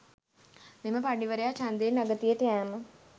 මෙම පඬිවරයා ඡන්දයෙන් අගතියට යෑම